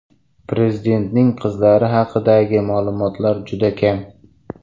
Prezidentning qizlari haqidagi ma’lumotlar juda kam.